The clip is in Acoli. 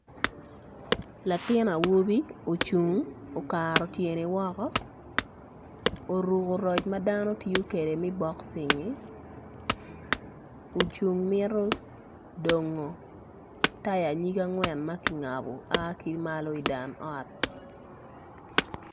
Latin awobi ocung okato tyene woko oruko roc madano tiyo kwede me boxing ocung mito dongo taya nyig angwen maki ngabo aa kimalo i dan ot.